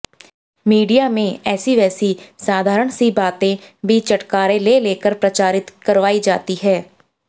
media में ऐसी वैसी साधारण सी बातें भी चटखारे ले लेकर प्रचारित करवाई जाती हैं